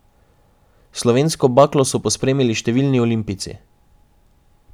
Slovensko baklo so pospremili številni olimpijci.